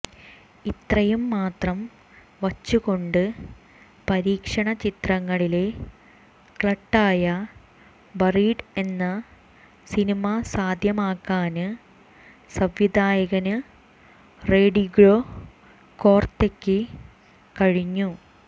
ഇത്രയും മാത്രം വച്ചു കൊണ്ട് പരീക്ഷണചിത്രങ്ങളിലെ കള്ട്ടായ ബറീഡ് എന്ന സിനിമ സാധ്യമാക്കാന് സംവിധായകന് റോഡിഗ്രോ കോര്ത്തെയ്ക്ക് കഴിഞ്ഞു